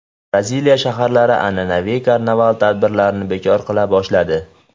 Braziliya shaharlari an’anaviy karnaval tadbirlarini bekor qila boshladi.